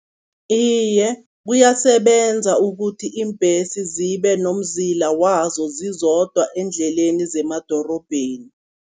Iye, kuyasebenza ukuthi iimbhesi zibe nomzila wazo zizodwa eendleleni zemadorobheni.